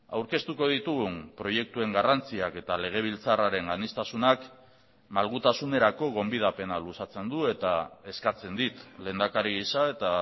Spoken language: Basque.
aurkeztuko ditugun proiektuen garrantziak eta legebiltzarraren aniztasunak malgutasunerako gonbidapena luzatzen du eta eskatzen dit lehendakari gisa eta